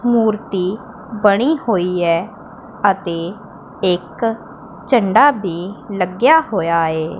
ਮੂਰਤੀ ਬਣੀ ਹੋਈ ਐ ਅਤੇ ਇੱਕ ਝੰਡਾ ਭੀ ਲੱਗਿਆ ਹੋਇਆ ਏ।